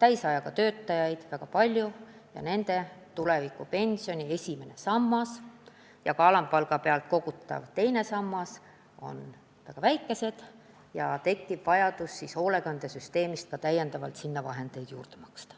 kes töötavad täisajaga, on väga palju ja nende tulevikupensioni esimese samba summad ja ka alampalga pealt kogutavad teise samba summad on väga väikesed ja tekiks vajadus hoolekandesüsteemist neile toetust maksta.